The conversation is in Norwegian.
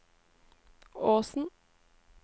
Åsen